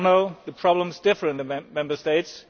As you all know, the problems differ in the Member States